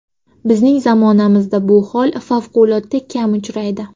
Bizning zamonamizda bu hol favqulodda kam uchraydi.